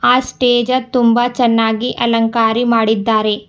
ಅಸ್ಟೇಜ ತುಂಬಾ ಚೆನ್ನಾಗಿ ಅಲಂಕಾರಿ ಮಾಡಿದ್ದಾರೆ.